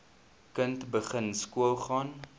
kind begin skoolgaan